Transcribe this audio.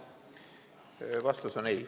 Vastus on ei.